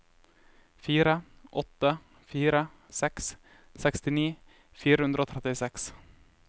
fire åtte fire seks sekstini fire hundre og trettiseks